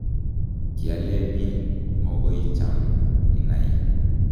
kialeni mokoicham inai